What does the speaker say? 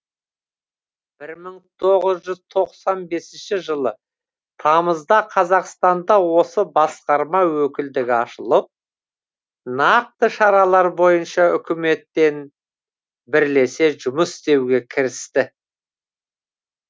бір мың тоғыз жүз тоқсан бесінші жылы тамызда қазақстанда осы басқарма өкілдігі ашылып нақты шаралар бойынша үкіметпен бірлесе жұмыс істеуге кірісті